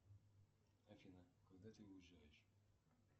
афина когда ты уезжаешь